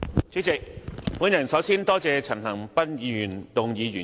主席，我首先感謝陳恒鑌議員動議原議案。